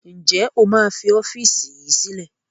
Ǹjẹ́ o máa fi ọ́fíìsì yìí sílẹ̀?